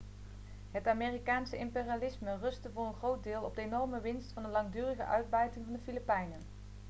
het amerikaanse imperialisme rustte voor een groot deel op de enorme winst van de langdurige uitbuiting van de filipijnen